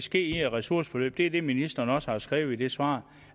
ske i et ressourceforløb det er det ministeren også har skrevet i svaret